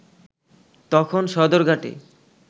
তখন সদরঘাটে